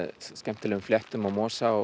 skemmtilegum fléttum og mosa og